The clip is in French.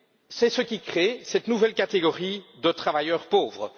C'est ce qui crée cette nouvelle catégorie de travailleurs pauvres.